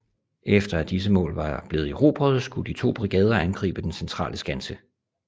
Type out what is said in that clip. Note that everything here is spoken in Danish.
Efter at disse mål var blevet erobret skulle de to brigader angribe den centrale skanse